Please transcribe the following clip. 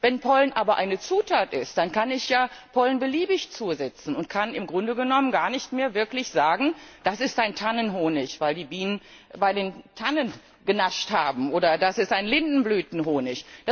Wenn Pollen aber eine Zutat ist, dann kann ich ja Pollen beliebig zusetzen und kann im Grunde genommen gar nicht mehr wirklich sagen Das ist ein Tannenhonig, weil die Bienen bei den Tannen genascht haben, oder das ist ein Lindenblütenhonig.